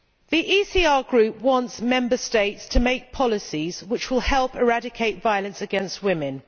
The ECR Group wants Member States to make policies which will help eradicate violence against women.